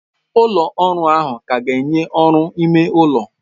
Ụlọ ọrụ ahụ ka ga-enye ọrụ ime ụlọ.